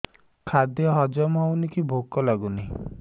ଖାଦ୍ୟ ହଜମ ହଉନି କି ଭୋକ ଲାଗୁନି